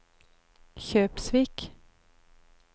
Kjøpsvik